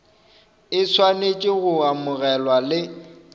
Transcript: e swanetše go amogela le